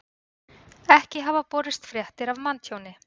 Ekki hafa borist fréttir af manntjóni